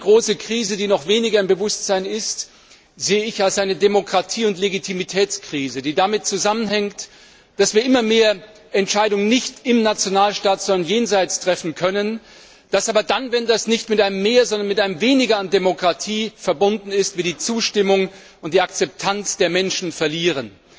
Die andere große Krise, derer wir uns noch weniger bewusst sind, sehe ich als eine Demokratie und Legitimitätskrise, die damit zusammenhängt, dass wir immer mehr Entscheidungen nicht im Nationalstaat, sondern jenseits davon treffen können, dass wir aber dann, wenn das nicht mit einem Mehr, sondern einem Weniger an Demokratie verbunden ist, die Zustimmung und die Akzeptanz der Menschen verlieren.